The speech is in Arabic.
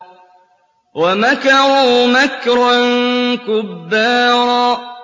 وَمَكَرُوا مَكْرًا كُبَّارًا